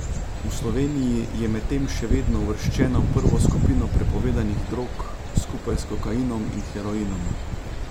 V Sloveniji je medtem še vedno uvrščena v prvo skupino prepovedanih drog, skupaj s kokainom in heroinom.